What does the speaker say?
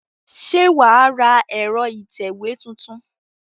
Ṣé wà á ra ẹ̀rọ ìtẹ̀wé tuntun?